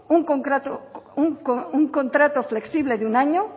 un contrato flexible de un año